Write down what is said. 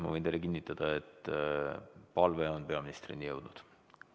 Ma võin teile kinnitada, et palve on peaministrini jõudnud.